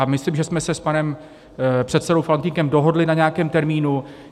A myslím, že jsme se s panem předsedou Faltýnkem dohodli na nějakém termínu.